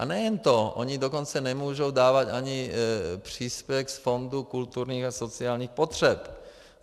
A nejen to, oni dokonce nemůžou dávat ani příspěvek z Fondu kulturních a sociálních potřeb.